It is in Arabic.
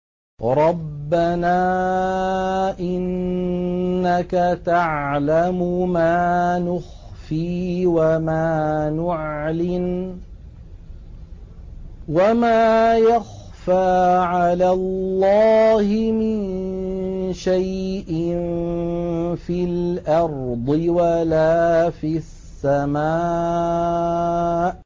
رَبَّنَا إِنَّكَ تَعْلَمُ مَا نُخْفِي وَمَا نُعْلِنُ ۗ وَمَا يَخْفَىٰ عَلَى اللَّهِ مِن شَيْءٍ فِي الْأَرْضِ وَلَا فِي السَّمَاءِ